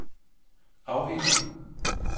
afhænger